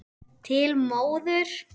Til móður.